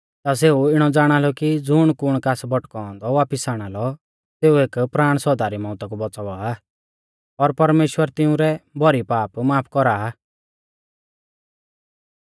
ता सेऊ इणौ ज़ाणालौ कि ज़ुण कुण कास भटकौ औन्दौ पापी वापिस आणालौ सेऊ एक प्राण सौदा री मौउता कु बौच़ावा आ और परमेश्‍वर तिंउरै भौरी पाप माफ कौरा आ